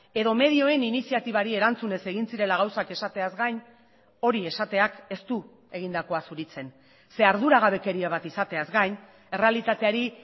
edo medioen iniziatibari erantzunez egin zirela gauzak esateaz gain hori esateak ez du egindakoa zuritzen ze arduragabekeria bat izateaz gain errealitateari